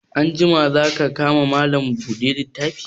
Anjima za ka ka ma Malam buɗe littafi?